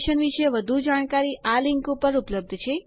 આ મિશન વિશે વધુ જાણકારી આ લિંક ઉપર ઉપલબ્ધ છે